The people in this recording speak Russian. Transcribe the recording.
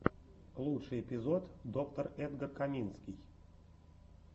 лучший эпизод доктор эдгар каминский